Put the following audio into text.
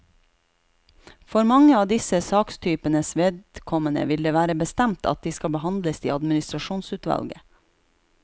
For mange av disse sakstypenes vedkommende vil det være bestemt at de skal behandles i administrasjonsutvalget.